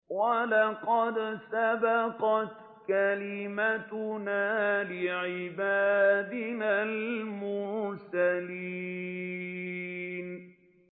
وَلَقَدْ سَبَقَتْ كَلِمَتُنَا لِعِبَادِنَا الْمُرْسَلِينَ